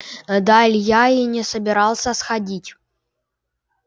да илья и не собирался сходить